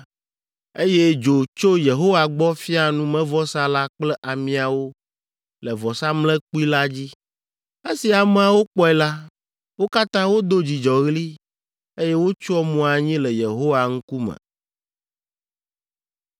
eye dzo tso Yehowa gbɔ fia numevɔsa la kple amiawo le vɔsamlekpui la dzi. Esi ameawo kpɔe la, wo katã wodo dzidzɔɣli, eye wotsyɔ mo anyi le Yehowa ŋkume.